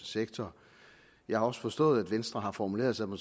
sektoren jeg har også forstået at venstre har formuleret sig på